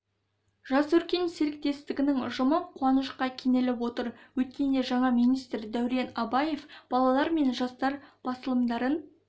жас өркен серіктестігінің ұжымы қуанышқа кенеліп отыр өткенде жаңа министр дәурен абаев балалар мен жастар басылымдарын